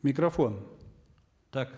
микрофон так